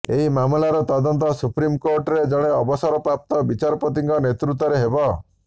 ଏହି ମାମଲାର ତଦନ୍ତ ସୁପ୍ରିମକୋର୍ଟର ଜଣେ ଅବସରପ୍ରାପ୍ତ ବିଚାରପତିଙ୍କ ନେତୃତ୍ୱରେ ହେବ